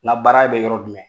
Ŋa baara bɛ yɔrɔ jumɛn?